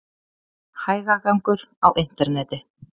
Hægagangur á interneti